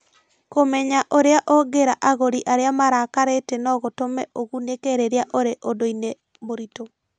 Kũmenya ũrĩa ũngĩĩra agũri arĩa marakarĩte no gũtũme ũgunĩke rĩrĩa ũrĩ ũndũ-inĩ mũritũ.